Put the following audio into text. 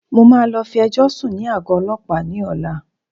Mo máa lọ fi ẹjọ́ sùn ní àgọ́ Ọlọ́pàá ni ọ̀la.